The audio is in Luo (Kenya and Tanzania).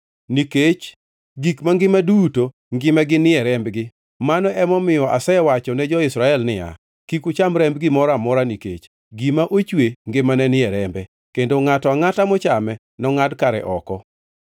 nikech gik mangima duto ngimagi ni e rembgi. Mano emomiyo asewacho ne jo-Israel niya, “Kik ucham remb gimoro amora, nikech gima ochwe ngimane ni e rembe, kendo ngʼato angʼata mochame nongʼad kare oko.”